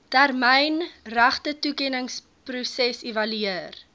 termyn regtetoekenningsproses evalueer